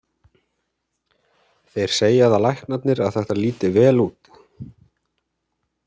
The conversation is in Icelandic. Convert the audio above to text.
Þeir segja það læknarnir að þetta líti vel út.